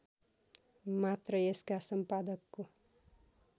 मात्र यसका सम्पादकको